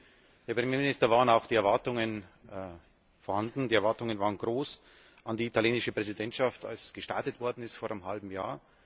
Deswegen, Herr Premierminister, waren auch die Erwartungen vorhanden, die Erwartungen waren groß an die italienische Präsidentschaft, als gestartet worden ist vor einem halben Jahr.